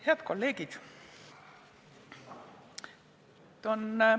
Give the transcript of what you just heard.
Head kolleegid!